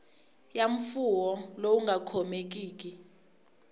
ya mfuwo lowu nga khomekiki